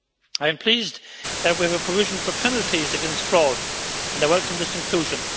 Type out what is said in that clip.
I am pleased that we have a provision for penalties against fraud and I welcome its inclusion.